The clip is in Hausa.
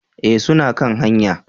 Eh suna kan hanya